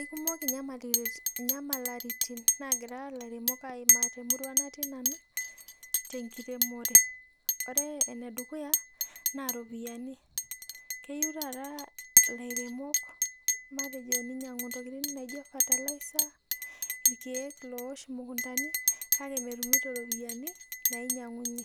Ekimoki nyiamaritin nagira laremok aimaa temurua naingua nanu tenkiremore ore enedukuya na ropiyani keyieu taata lairemok ninyangu ntokitin naijo fertiliser irkiek loosho mukundani kake metumito ropiyani nainyanguny e